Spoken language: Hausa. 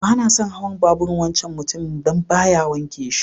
Bana son hawan babur'n wancan mutumin dan baya wanke shi.